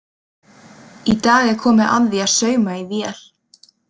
Í dag er komið að því að sauma í vél.